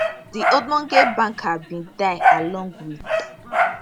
di ogbonge banker bin die along wit